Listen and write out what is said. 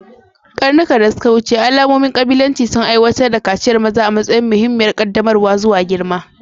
Ƙarnuka da suka wuce, al'ummomin ƙabilanci sun aiwatar da kaciyar maza a matsayin muhimmiyar ƙaddamarwa zuwa girma.